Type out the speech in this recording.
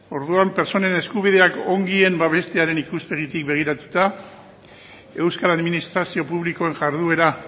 orduan pertsonen eskubideak ongien babestearen ikuspegitik begiratuta euskal administrazio publikoen jarduera